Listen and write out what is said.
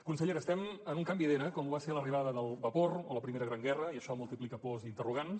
consellera estem en un canvi d’era com ho va ser l’arribada del vapor o la primera gran guerra i això multiplica pors i interrogants